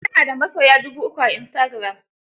Ta na da masoya dubu uku a istagiram.